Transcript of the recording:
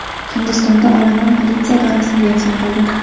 Hindistonda olomon politsiya idorasini yakson qildi.